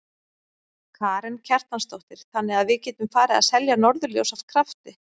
Karen Kjartansdóttir: Þannig að við getum farið að selja norðurljós af krafti?